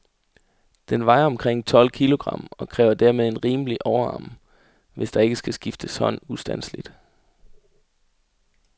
Den vejer omkring tolv kilogram, og kræver dermed en rimelig overarm, hvis der ikke skal skifte hånd ustandseligt.